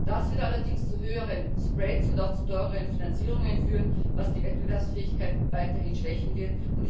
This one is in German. Das wird allerdings zu höheren Spreads und auch zu teureren Finanzierungen führen, was die Wettbewerbsfähigkeit weiterhin schwächen wird.